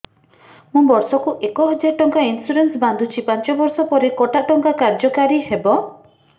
ମୁ ବର୍ଷ କୁ ଏକ ହଜାରେ ଟଙ୍କା ଇନ୍ସୁରେନ୍ସ ବାନ୍ଧୁଛି ପାଞ୍ଚ ବର୍ଷ ପରେ କଟା ଟଙ୍କା କାର୍ଯ୍ୟ କାରି ହେବ